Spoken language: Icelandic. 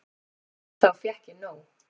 Þá fékk ég nóg.